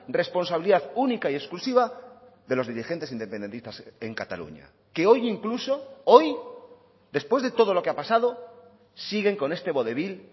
responsabilidad única y exclusiva de los dirigentes independentistas en cataluña que hoy incluso hoy después de todo lo que ha pasado siguen con este vodevil